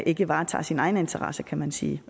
ikke varetager sine egne interesser kan man sige